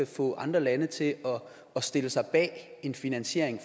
få andre lande til at stille sig bag en finansiering